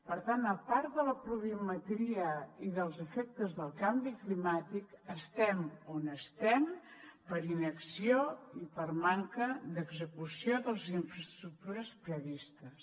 per tant a part de la pluviometria i dels efectes del canvi climàtic estem on estem per inacció i per manca d’execució de les infraestructures previstes